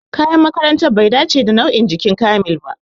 Kayan makarantar bai dace da nau'in jikin Kamil ba